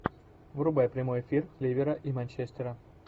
врубай прямой эфир ливера и манчестера